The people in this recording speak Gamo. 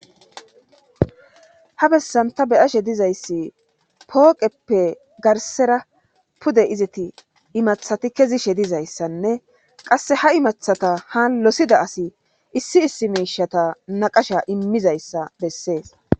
ha bessanta beyashe dizayssi pooqeppe garsera pude iziti imathati kezishe dizayssanne qasse ha imathata ha losida asi issi issi miishata naqasha immizayssa bessees